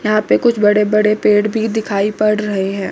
यहां पे कुछ बड़े बड़े पेड़ भी दिखाई पड़ रहे हैं।